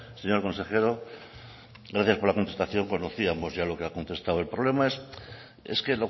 señor consejero gracias por la contestación conocíamos ya lo que ha contestado el problema es que